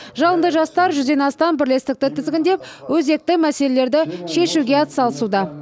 жалынды жастар жүзден астам бірлестікті тізгіндеп өзекті мәселелерді шешуге атсалысуда